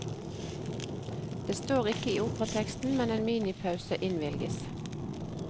Det står ikke i operateksten, men en minipause innvilges.